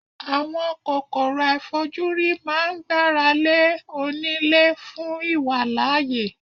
Àwọn kòkòrò àìfojúrí máa ń gbára lé oní lé fún ìwàlàyé.